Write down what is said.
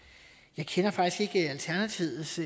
jeg kender faktisk ikke alternativets